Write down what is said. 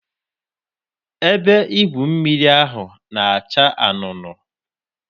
Ebe igwu mmiri ahụ na-acha anunuu.